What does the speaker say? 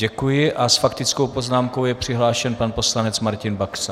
Děkuji a s faktickou poznámkou je přihlášen pan poslanec Martin Baxa.